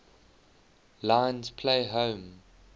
lions play home